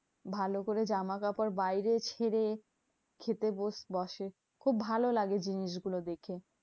ভালোকরে জামাকাপড় বাইরে ছেড়ে খেতে বস বসে। খুব ভালো লাগে জিনিসগুলো দেখে।